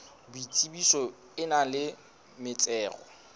boitsebiso e nang le metsero